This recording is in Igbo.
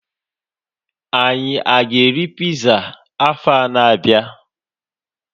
Anyị a ga-eri piza afọa na-abịa?